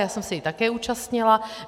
Já jsem se jí také účastnila.